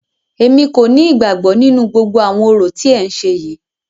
Èmi kò ní ìgbàgbọ nínú gbogbo àwọn orò tí ẹ ń ṣe yìí.